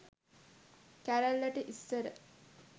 කැරැල්ලට ඉස්සර